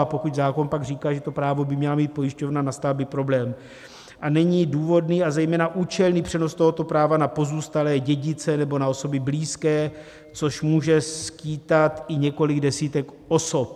A pokud zákon pak říká, že to právo by měla mít pojišťovna, nastal by problém, a není důvodný, a zejména účelný přenos tohoto práva na pozůstalé dědice nebo na osoby blízké, což může skýtat i několik desítek osob.